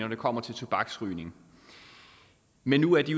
når det kommer til tobaksrygning men nu er de